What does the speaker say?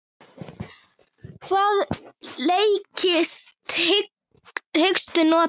Hvaða leikstíl hyggstu nota?